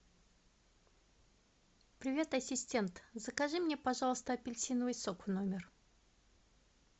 привет ассистент закажи мне пожалуйста апельсиновый сок в номер